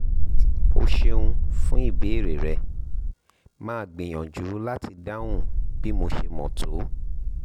o ṣeun fún ìbéèrè rẹ màá gbìyànjú láti dáhùn bí mo ṣe mọ̀ tó